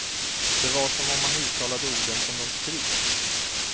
Det var som om han uttalade orden som de skrivs.